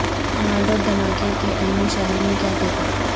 مال road دھماکے کے عینی شاہد نے کیا دیکھا